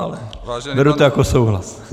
Ale beru to jako souhlas.